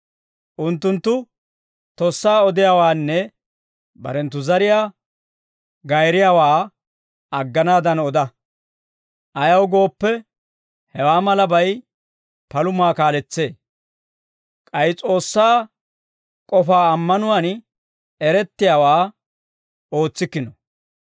Unttunttu tossaa odiyaawaanne barenttu zariyaa gayriyaawaa agganaadan oda. Ayaw gooppe, hewaa malabay palumaa kaaletsee; k'ay S'oossaa k'ofaa ammanuwaan erettiyaawaa ootsikkino.